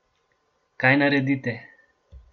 Kaj naredite?